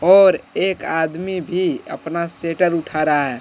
और एक आदमी भी अपना शटर उठा रहा है।